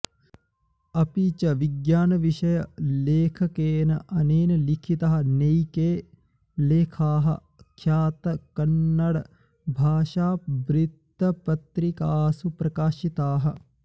अपि च विज्ञानविषयलेखकेन अनेन लिखितः नैके लेखाः ख्यातकन्नडभाषावृत्तपत्रिकासु प्रकाशिताः